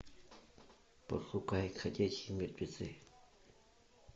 пошукай ходячие мертвецы